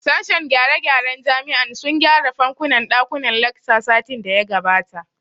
Sashen gyare gyaren jami'an sun gyare fankunan ɗakunnan lacca satin da ya gabata